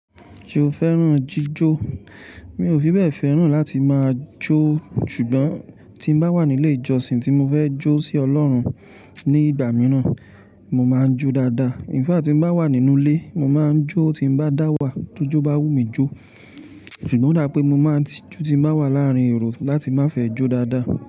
Ṣé o fẹ́ràn jíjó? Mi ò fi bẹ́ẹ̀ fẹ́ràn láti máa jó, ṣùgbọ́n tí n bá wà nílé ìjọsìn tí mo fẹ́ jó sí Ọlọ́run ní ìgbà mìíràn, mo máa ń jó dáadáa. In fact tí n bá wà nínú ilé, mo máa ń jó tí n bá dáwà, tójó bá wù mí jó. Ṣùgbọ́n ó dá pé mo máa ń tijú tí n bá wà láàárín èrò láti má fẹ́ jó dáadáa.